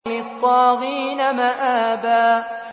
لِّلطَّاغِينَ مَآبًا